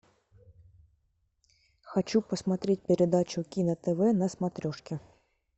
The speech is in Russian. хочу посмотреть передачу кино тв на смотрешке